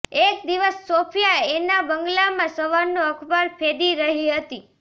એક દિવસ સોફિયા એના બંગલામાં સવારનું અખબાર ફેંદી રહી હતી